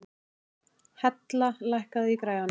Hella, lækkaðu í græjunum.